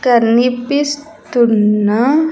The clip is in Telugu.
కనిపిస్తున్న.